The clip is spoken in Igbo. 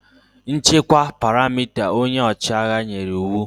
Nchekwa perimeta! Onye ọchịagha nyere iwu